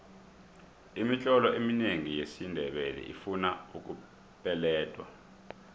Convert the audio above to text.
imitlolo eminengi yesindebele ifuna ukupeledwa